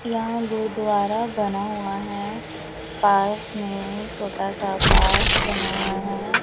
यहां गुरुद्वारा बना हुआ है पास में छोटा सा पार्क बना हुआ हैं।